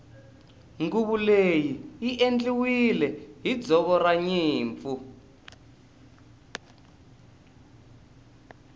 nguvu leyi i endliwile hi ndzoro ranyimpfu